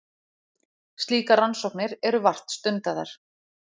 slíkar rannsóknir eru vart stundaðar